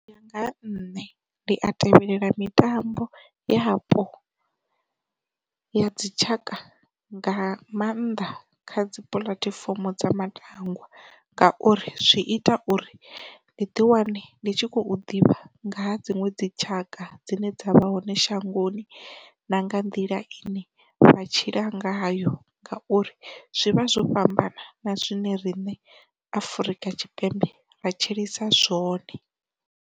U ya nga ha nṋe ndi a tevhelela mitambo yapo ya dzitshaka nga maanḓa kha dzi puḽatifomo dza matangwa ngauri, zwi ita uri ndi ḓi wane ndi tshi khou ḓivha nga ha dziṅwe dzi tshaka dzine dza vha hone shangoni na nga nḓila ine vha tshila ngayo ngauri, zwi vha zwo fhambana na zwine riṋe Afurika Tshipembe ra tshilisa zwone.